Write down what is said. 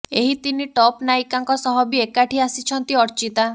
ଏହି ତିନି ଟପ୍ ନାୟିକାଙ୍କ ସହ ବି ଏକାଠି ଆସିଛନ୍ତି ଅର୍ଚ୍ଚିତା